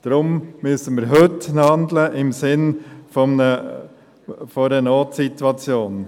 Deshalb müssen wir heute handeln im Sinne einer Notsituation.